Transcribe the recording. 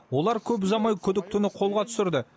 олар көп ұзамай күдіктіні қолға түсірді